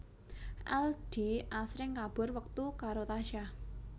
Aldi asring kabur wektu karo Tasya